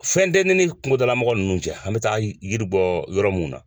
Fɛn tɛ ne ni kungodalamɔgɔ ninnu cɛ, an bɛ taa yiri bɔ yɔrɔ minnu na.